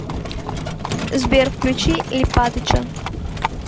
сбер включи липатыча